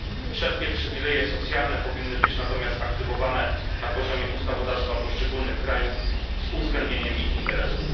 Wszelkie przywileje socjalne powinny być natomiast aktywowane na poziomie ustawodawstwa poszczególnych krajów z uwzględnieniem ich interesów.